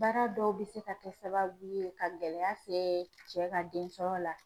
Baara dɔw bɛ se ka kɛ sababu ye ka gɛlɛya se cɛ ka den sɔrɔ la.